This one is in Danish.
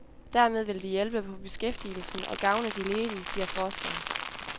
Dermed vil de hjælpe på beskæftigelsen og gavne de ledige, siger forskeren.